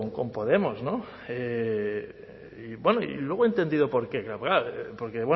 con podemos y luego he entendido por qué porque